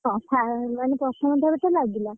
ହଁ ଖାଇବା ମିଳିଲାନି ପ୍ରଥମ ଥରତ ଲାଗିଲା।